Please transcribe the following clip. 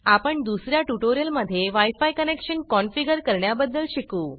आपण दुसर्या ट्युटोरियल मध्ये wi फी कनेक्शन कन्फिगर करण्याबदद्ल शिकू